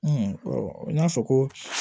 n y'a fɔ ko